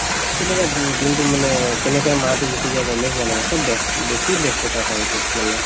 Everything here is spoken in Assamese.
তেনেকৈ দি দিনতো মানে কেনেকে মাহতো গুচি যাই গমে পোৱা নাযায় চব ব্যস বেছি ব্যস্ততা হয় এইটোত মানে